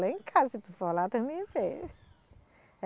Lá em casa, se tu for lá, tu me vê